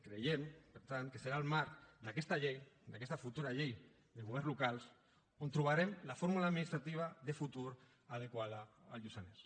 creiem per tant que serà el marc d’aquesta llei d’aquesta futura llei de governs locals on trobarem la fórmula administrativa de futur adequada al lluçanès